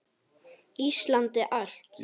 Íslandi allt!